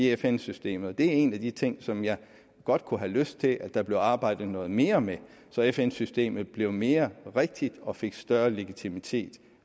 fn systemet det er en af de ting som jeg godt kunne have lyst til at der bliver arbejdet noget mere med så fn systemet i fremtiden blev mere rigtigt og fik større legitimitet